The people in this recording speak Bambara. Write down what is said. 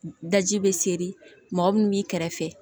Daji bɛ seri mɔgɔ minnu b'i kɛrɛfɛ